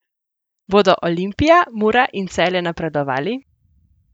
Bodo Olimpija, Mura in Celje napredovali?